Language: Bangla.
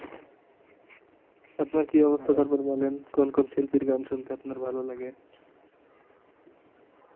আপনার কি অবস্থা তারপর বলেন কোন কোন শিল্পীর গান শুনতে আপনার ভালো লাগে